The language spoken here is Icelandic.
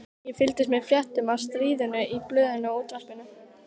Ég fylgdist með fréttum af stríðinu í blöðunum og útvarpinu.